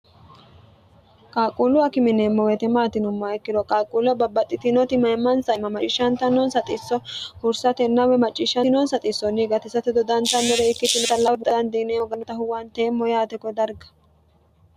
qaaquullu akime yineemmo woyete maati yinummoha ikkiro qaaquullu babbaxxitinoti mayimmansa imma macciishshantanonsa xisso hursatenna woyi macciishantinonsa xissonni gatisate dodantannore ikkitinota huwanteemmo yaate kodarga.